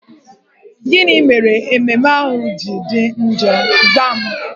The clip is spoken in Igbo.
Gịnị mere ememme ahụ ji dị njọ? Zaa m!